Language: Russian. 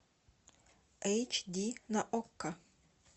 эйч ди на окко